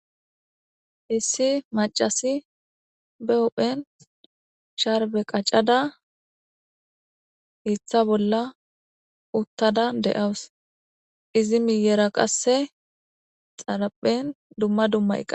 Issi macasi be uphen sharbe qaccada hitha bolla uttada de7awus izi miyera qasse xaraphen dumma dummaeqqa.